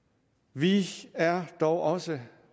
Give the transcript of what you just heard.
vi er dog også